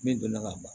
Min donna ka ban